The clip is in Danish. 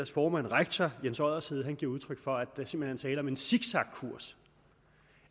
formand rektor jens oddershede giver udtryk for at der simpelt tale om en zigzagkurs